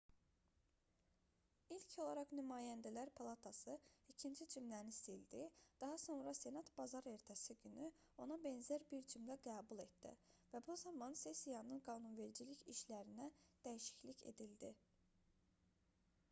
i̇lk olaraq nümayəndələr palatası ikinci cümləni sildi daha sonra senat bazar ertəsi günü ona bənzər bir cümlə qəbul etdi və bu zaman sessiyanın qanunvericilik işlərinə dəyişiklik edildi